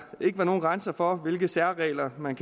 ikke være nogen grænser for hvilke særregler man